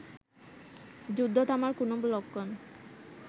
যুদ্ধ থামার কোন লক্ষণ